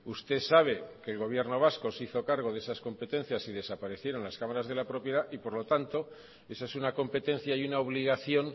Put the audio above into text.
usted sabe que el gobierno vasco se hizo cargo de esas competencias y desaparecieron las cámaras de la propiedad y por lo tanto esa es una competencia y una obligación